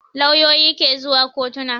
Lauyoyi ke zuwa kotona